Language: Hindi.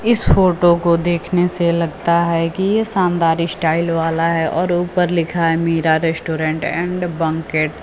इस फोटो को देखने से लगता है कि ये शानदार स्टाइल वाला है और ऊपर लिखा है मीरा रेस्टोरेंट एंड बैंकेट ।